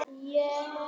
Hvað með skó?